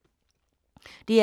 DR K